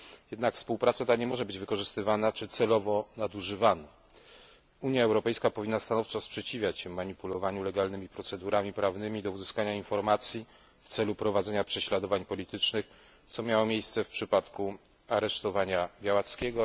Jednak współpraca ta nie może być wykorzystywana i nie należy jej celowo nadużywać. Unia Europejska powinna stanowczo przeciwstawiać się manipulowaniu legalnymi procedurami prawnymi do uzyskania informacji w celu prowadzenia prześladowań politycznych, co miało miejsce w przypadku aresztowania Białackiego.